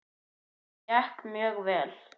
Það gekk mjög vel.